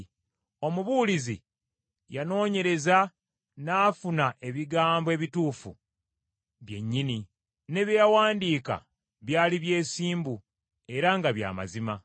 Omubuulizi yanoonyereza n’afuna ebigambo ebituufu byennyini, ne bye yawandiika byali byesimbu era nga bya mazima.